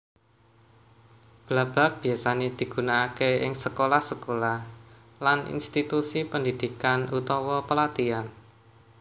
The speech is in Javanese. Blabag biyasané digunakaké ing sekolah sekolah lan institusi pendhidhikan utawa pelatihan